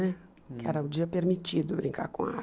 Né, que era o dia permitido brincar com a